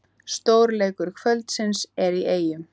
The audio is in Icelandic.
Stórleikur kvöldsins er í Eyjum